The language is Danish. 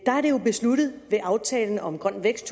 er det jo besluttet ved aftalen om grøn vækst